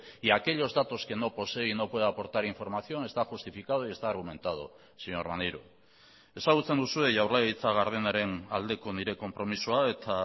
y aquellos datos que no posee y no puede aportar información está justificado y está argumentado señor maneiro ezagutzen duzue jaurlaritza gardenaren aldeko nire konpromisoa eta